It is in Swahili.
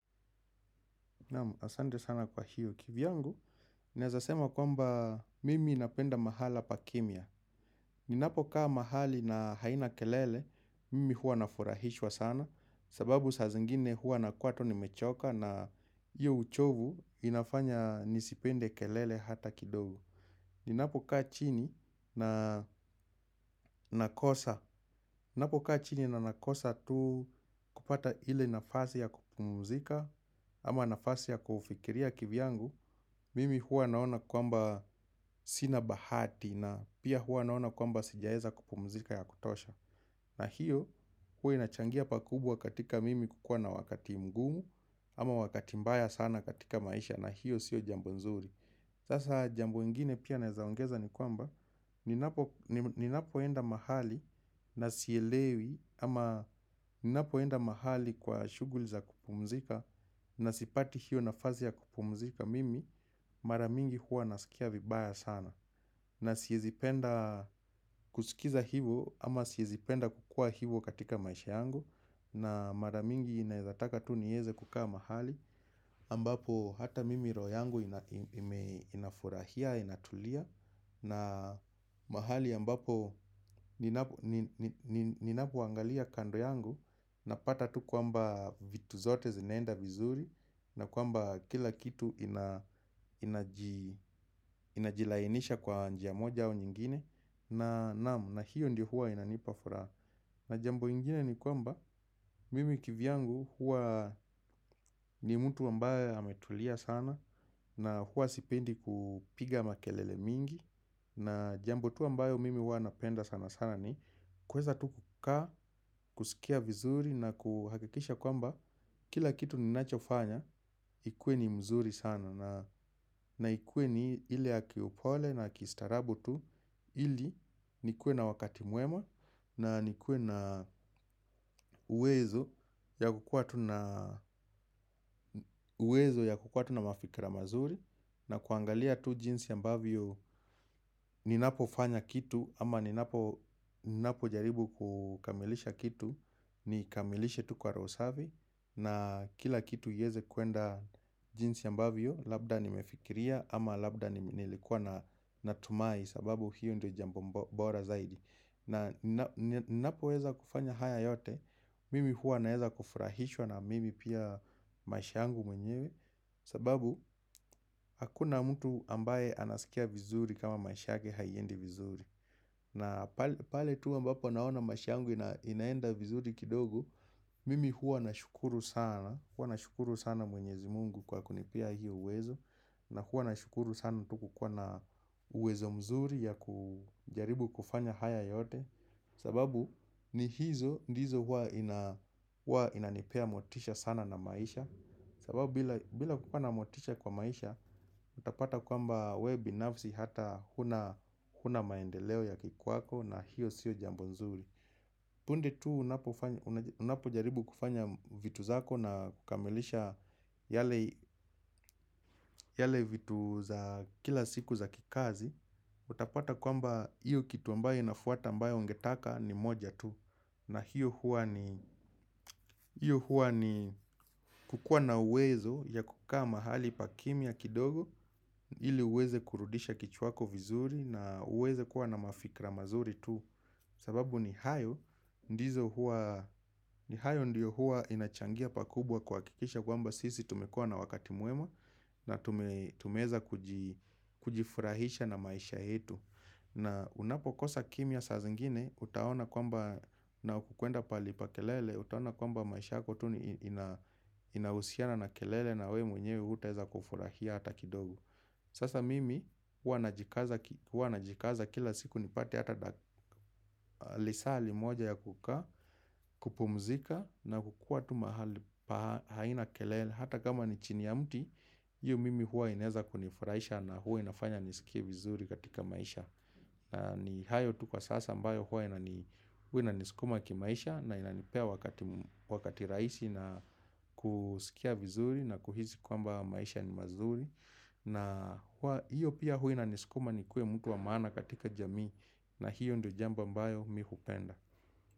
Asanti sana kwa hiyo. Kivyangu, ninaeza sema kwamba mimi napenda mahala pa kimya. Ninapokaa mahali na haina kelele, mimi hua nafurahishwa sana. Sababu sa zingine hua na kuwa tu nimechoka na iyo uchovu inafanya nisipende kelele hata kidogo. Ninapokaa chini na nakosa. Ninapo kaa chini na nakosa tu kupata ile nafasi ya kupumuzika ama nafasi ya kufikiria kivyangu. Mimi huwa naona kwamba sina bahati na pia huwa naona kwamba sijaweza kupumzika ya kutosha. Na hiyo huwa inachangia pa kubwa katika mimi kukua na wakati mgumu ama wakati mbaya sana katika maisha na hiyo siyo jambo nzuri. Sasa jambo ingine pia naeza ongeza ni kwamba ninapoenda mahali na sielewi ama ni napoenda mahali kwa shughuli za kupumzika na sipati hiyo nafasi ya kupumzika mimi mara mingi huwa nasikia vibaya sana. Na siwezi penda kusikiza hivo ama siwezi penda kukua hivo katika maisha yangu. Na mara mingi naezataka tu nieze kukaa mahali ambapo hata mimi roho yangu inafurahia, inatulia. Na mahali ambapo ninapoangalia kando yangu napata tu kwamba vitu zote zinaenda vizuri. Na kwamba kila kitu ina inajilainisha kwa njia moja au nyingine na hiyo ndio huwa inanipafuraha. Na jambo ingine ni kwamba mimi kivyangu huwa ni mtu ambaye ametulia sana. Na huwa sipendi kupiga makelele mingi. Na jambo tu ambayo mimi huwa napenda sana sana ni kuweza tu kukaa, kusikia vizuri na kuhakikisha kwamba kila kitu ninachofanya ikuwe ni mzuri sana na ikuwe ni ile ya ki upole na kistaarabu tu ili nikuwe na wakati mwema na nikuwe na uwezo ya kukua tu na uwezo ya kukua tu na mafikira mazuri. Na kuangalia tu jinsi ambavyo ninapofanya kitu ama ninapo jaribu kukamilisha kitu. Ni kamilishe tu kwa roho safi. Na kila kitu iweze kuenda jinsi ambavyo labda nimefikiria ama labda nilikuwa natumai sababu hiyo ndo jambo bora zaidi. Na ninapoweza kufanya haya yote. Mimi hua naeza kufurahishwa na mimi pia maish yangu mwenyewe. Sababu hakuna mtu ambaye anasikia vizuri kama maish yake haiendi vizuri. Na pale tu ambapo naona maish yangu inaenda vizuri kidogo. Mimi huwa nashukuru sana mwenyezi mungu kwa kunipea hiyo uwezo. Na huwa nashukuru sana tu kukwa na uwezo mzuri ya kujaribu kufanya haya yote. Sababu ni hizo ndizo huwa inanipea motisha sana na maisha. Sababu bila kukuwa na motisha kwa maisha utapata kwamba wewe binafsi hata huna maendeleo ya kikwako na hiyo siyo jambo nzuri punde tu unapo jaribu kufanya vitu zako na kukamilisha yale vitu za kila siku za kikazi. Utapata kwamba iyo kitu ambayo inafuata ambayo ungetaka ni moja tu. Na hiyo hua ni kukuwa na uwezo ya kukua mahali pa kimya kidogo ili uweze kurudisha kichwa yako vizuri na uweze kuwa na mafikra mazuri tu. Sababu ni hayo ndio huwa inachangia pakubwa kuhakikisha kwamba sisi tumekua na wakati mwema na tumeweza kujifurahisha na maisha yetu. Na unapokosa kimya sazingine utaona kwamba na ukikwenda pahali pa kelele utaona kwamba maisha tu inahusiana na kelele na wewe mwenyewe hutaweza kufurahia hata kidogo. Sasa mimi hua najikaza kila siku nipate hata lisali moja ya kukaa kupumzika na kukua tu mahali pa haina kelele. Hata kama ni chini ya mti, hiyo mimi hua inaeza kunifurahisha na hua inafanya nisikie vizuri katika maisha. Na ni hayo tu kwa sasa mbayo hua inanisukuma kimaisha na inanipea wakati raisi na kusikia vizuri na kuhisi kwamba maisha ni mazuri. Na hiyo pia huwa inanisukuma nikue mtu wa maana katika jamii. Na hiyo ndio jambo mbayo mimi hupenda.